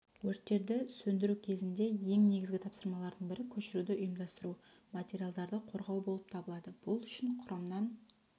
өрттерді сөндіру кезінде ең негізгі тапсырмалардың бірі көшіруді ұйымдастыру материалдарды қорғау болып табылады бұл үшін құрамнан